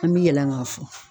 An bi yɛlɛn ka fɔ.